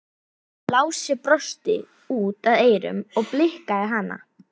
Lási brosti út að eyrum og blikkaði hana.